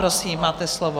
Prosím, máte slovo.